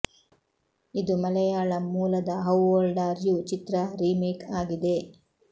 ಇದು ಮಲೆಯಾಳಂ ಮೂಲದ how old are you ಚಿತ್ರ ರೀಮೇಕ್ ಆಗಿದೆ